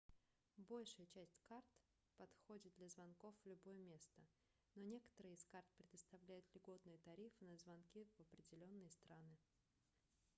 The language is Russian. большая часть карт подходит для звонков в любое место но некоторые из карт предоставляют льготные тарифы на звонки в определенные страны